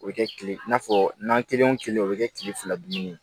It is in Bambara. O bɛ kɛ kile n'a fɔ nan kelen o kelen o bɛ kɛ kile fila dumuni ye